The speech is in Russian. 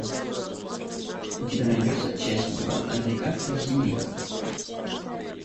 у тебя найдется часть два американская семейка